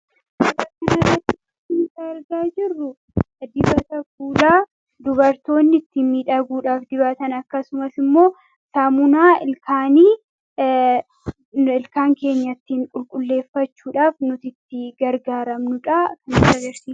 Fkkii kan irratti kan argaa jirru dibata guddaa dubartoonni itti miidhaguudhaaf dibatan. Akkasumas immoo saamunaa ilkaan keenya ittiin qulqulleeffachuudhaaf nuti itti gargaaramnudhaa .